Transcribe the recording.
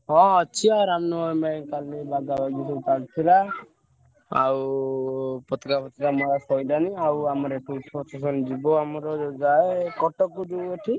ହଁ ଅଛି ଆଉ ଆଉ ପତାକା ଫଟକା ମରା ସାରିଲାଣି ଆଉ ଆମର ଏପରେ procession ଯିବୁ ଆମର ଯାଏ କଟକ ରୁ ଏଠି।